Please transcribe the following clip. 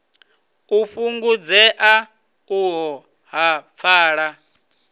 u fhungudzea uho ha pfala